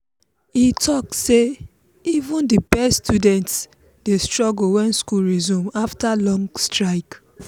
e talk say even the best students dey struggle when school resume after long strike.